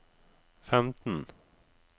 femten